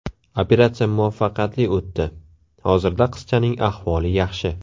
Operatsiya muvaffaqiyatli o‘tdi, hozirda qizchaning ahvoli yaxshi.